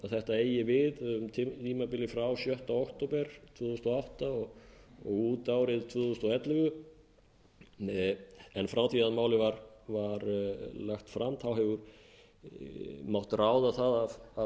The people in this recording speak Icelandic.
þetta eigi við tímabilið frá sjötta október tvö þúsund og átta og út árið tvö þúsund og ellefu en frá því að málið var lagt fram hefur mátt ráða það af